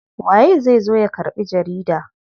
Waye zai zo ya karɓi jarida?